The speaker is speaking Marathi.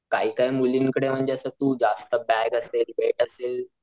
काही काही मुलींकडे म्हणजे अस तू बॅग असेल वेट असेल,